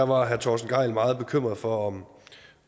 var herre torsten gejl meget bekymret for om